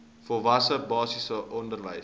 volwasse basiese onderwys